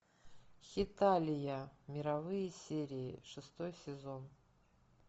хеталия мировые серии шестой сезон